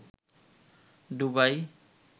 ডুবাই